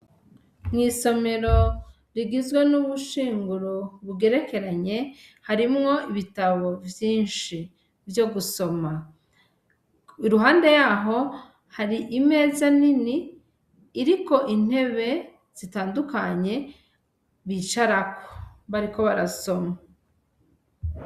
Mw'isomero rigizwe n'ubushinguro bugerekeranye, harimwo ibitabo vyinshi vyo gusoma, iruhande yaho hari imeza nini iriko intebe zitandukanye bicarako bariko barasoma.